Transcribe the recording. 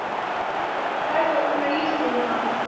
Til að hræða úr mér líftóruna?